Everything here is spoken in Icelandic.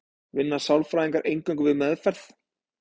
vinna sálfræðingar eingöngu við meðferð